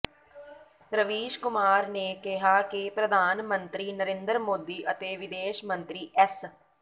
ਰਵੀਸ਼ ਕੁਮਾਰ ਨੇ ਕਿਹਾ ਕਿ ਪ੍ਰਧਾਨ ਮੰਤਰੀ ਨਰਿੰਦਰ ਮੋਦੀ ਅਤੇ ਵਿਦੇਸ਼ ਮੰਤਰੀ ਐੱਸ